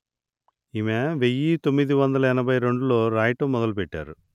ఈమె వెయ్యి తొమ్మిది వందలు ఎనభై రెండులో రాయటం మొదలు పెట్టారు